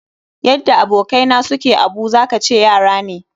Yadda abokai na su ke abu, za ka zaci yara ne.